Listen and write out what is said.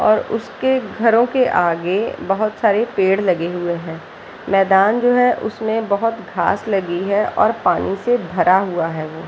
और उसके घरो के आगे बहुत सारे पेड़ लगे हुए है मैदान जो है उसमें बहुत घास लगी है और पानी से भरा हुआ है वो --